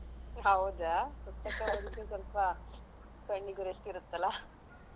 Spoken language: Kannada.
ಹೌದಾ. ಪುಸ್ತಕ ಓದಿದ್ರೆ ಸ್ವಲ್ಪ ಕಣ್ಣಿಗೂ rest ರುತೆ ಅಲ್ಲ